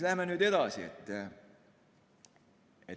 Läheme edasi.